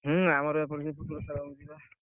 ହୁଁ, ଆମର ଏପଟରେ ବା Football ଖେଳ ହଉଛି ବା।